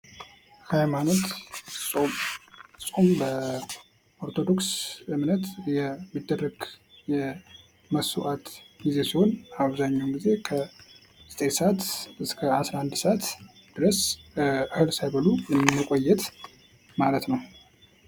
ሃይማኖት ጾም ጾም በኦርቶዶክስ እምነት የሚደረግ መስዋዕት ሲሆን አብዛኛውን ጊዜ ከዘጠኝ ሰአት እስከ 11 ሰአት ድረስ እህል ሳይበሉ መቆየት ማለት ነው።